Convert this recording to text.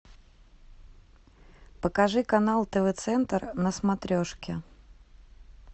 покажи канал тв центр на смотрешке